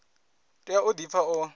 tea u di pfa o